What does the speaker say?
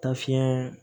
Taa fiɲɛ